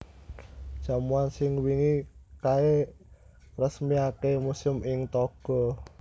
Jamuan sing wingi kae ngresmiake museum ing Togo